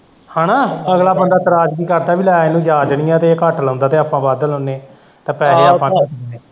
ਹੈਨਾ ਅਗਲਾ ਬੰਦਾ ਇਤਰਾਜ਼ ਵੀ ਕਰਦਾ ਵੀ ਲੈ ਇਹਨੂੰ ਜਾਂਚ ਨਈ ਏ ਕਿ ਇਹ ਘੱਟ ਲਾਉਂਦਾ ਤੇ ਆਪਾਂ ਵੱਧ ਲਾਉਣੇ ਏ ਤੇ ਪੈਹੇ ਆਪਾਂ ਰੱਖ ਲੈਣੇ।